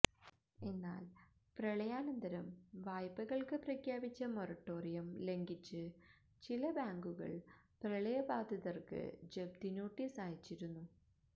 എന്നാല് പ്രളയാനന്തരം വായ്പകള്ക്ക് പ്രഖ്യാപിച്ച മോറട്ടോറിയം ലംഘിച്ച് ചില ബാങ്കുകള് പ്രളയബാധിതര്ക്ക് ജപ്തിനോട്ടീസ് അയച്ചിരുന്നു